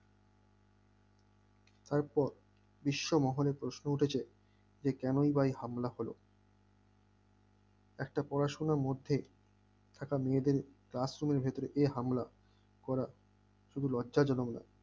তারপর বিশ্ব মহলে প্রশ্ন উঠেছে যে কেনই বা এরকম হামলা হল একটা পড়াশোনার মধ্যেও একটা মেয়েদের classroom এর ভিতরে এই হামলা করা শুধু লজ্জা জনক না